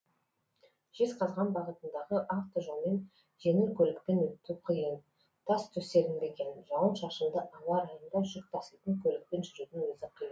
жезқазған бағытындағы автожолмен жеңіл көлікпен өту қиын тас төселінбеген жауын шашынды ауа райында жүк таситын көлікпен жүрудің өзі қиын